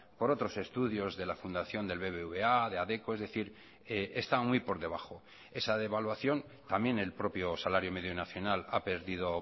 por otros estudios de la fundación del bbva de adecco es decir está muy por debajo esa devaluación también el propio salario medio nacional ha perdido